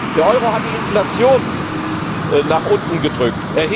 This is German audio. Der Euro hat die Inflation erheblich nach unten gedrückt.